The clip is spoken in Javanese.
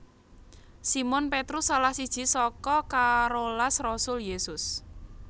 Simon Petrus salah siji saka karolas rasul Yésus